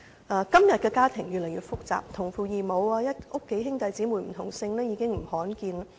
現今的家庭越來越複雜，同父異母、家中兄弟姊妹不同姓的情況並不罕見。